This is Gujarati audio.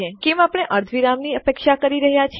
હવે કેમ આપણે અર્ધવિરામની અપેક્ષા કરી રહયા છીએ